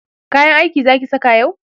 kayan aiki Zaki saka yau?